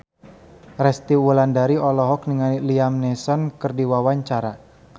Resty Wulandari olohok ningali Liam Neeson keur diwawancara